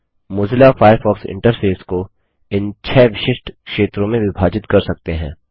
Mozilla Firefox interface को इन 6 विशिष्ट क्षेत्रों में विभाजित कर सकते हैं